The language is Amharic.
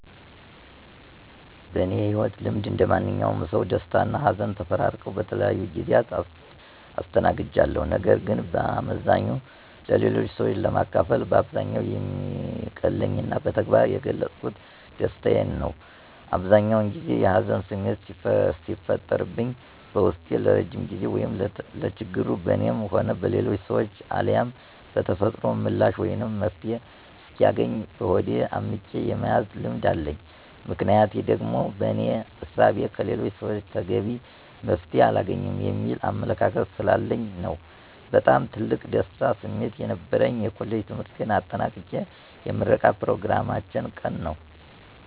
በእኔ የህይወት ልምድ እንደማንኛውም ሰው ደስታና ሀዘን ተፈራርቀው በተለያዩ ጊዜያት አስተናግጃቸዋለሁ። ነገር ግን በአመዛኙ ለሌሎች ሰዎች ለማካፈል በአብዛኛው የሚቀለኝና በተግባር የገለፅኩት ደስታዬን ነው። አብዛኛውን ጊዜ የሀዘን ስሜት ሲፈጠርብኝ በውስጤ ለረዥም ጊዜ ወይም ለችግሩ በእኔም ሆነ በሌሎች ሰዎች አልያም በተፈጥሮ ምላሽ ወይም መፍትሔ እስኪያገኝ በሆዴ አምቄ የመያዝ ልምድ አለኝ። ምክንያቴ ደግሞ በእኔ እሳቤ ከሌሎች ሰወች ተገቢ መፍትሔ አላገኝም የሚል አመለካከት ስላለኝ ነው። በጣም ትልቅ የደስታ ስሜት የነበረኝ የኮሌጅ ትምህርቴን አጠናቅቄ የምረቃ ኘሮግራማችን ቀን ነዉ።